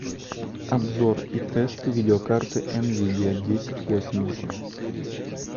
обзор и тест видеокарты нвидиа десять восемьдесят